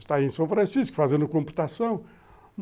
Está aí em São Francisco fazendo computação?